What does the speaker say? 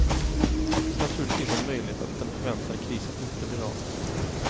Det finns naturligtvis en möjlighet att den förväntade krisen inte blir av.